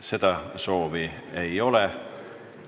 Seda soovi ei ole.